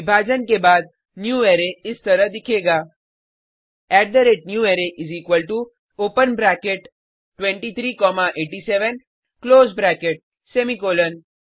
विभाजन के बाद न्यूवारे इस तरह दिखेगा newArray open bracket 23 comma 87 close bracket semicolon